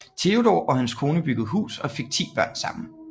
Theodor og hans kone byggede hus og fik 10 børn sammen